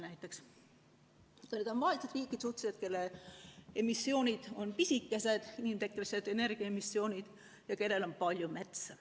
Need on suhteliselt vaesed riigid, kelle inimtekkelised emissioonid on pisikesed ja kellel on palju metsa.